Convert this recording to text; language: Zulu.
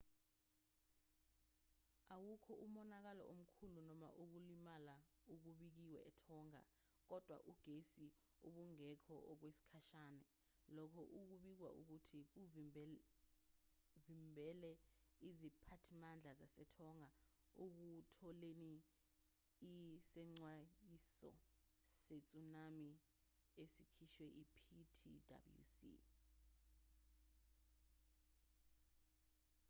awukho umonakalo omkhulu noma ukulimala okubikiwe etonga kodwa ugesi ubungekho okwesikhashana lokho okubikwa ukuthi kuvimebele iziphathimandla zasetonga ekutholeni isexwayiso setsunami esikhishwe iptwc